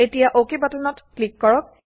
এতিয়া অকে বাটনত ক্লিক কৰক